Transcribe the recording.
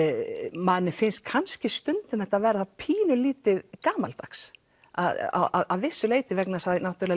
manni finnst þetta kannski stundum verða pínulítið gamaldags að vissu leyti vegna þess